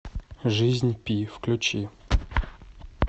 жизнь пи включи